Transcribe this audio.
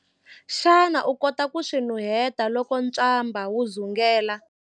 Xana u kota ku swi nuheta loko ntswamba wu dzungela?